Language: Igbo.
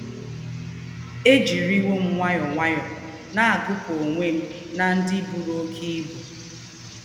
è jìrìwò m nwàyọ́ọ́ nwàyọ́ọ́ nà-àgúpù onwe m n’ndi bùrù óké íbú!